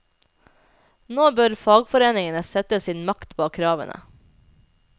Nå bør fagforeningene sette sin makt bak kravene.